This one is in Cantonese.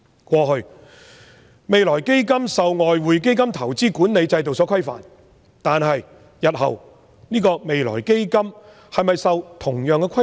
過去，未來基金受外匯基金投資管理制度所規範，但未來基金日後是否受同樣的規範？